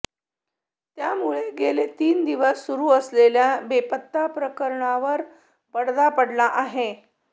त्यामुळे गेले तीन दिवस सुरु असलेल्या बेपत्ता प्रकरणावर पडदा पडला आहे